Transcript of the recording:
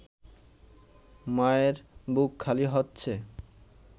মায়ের বুক খালি হচ্ছে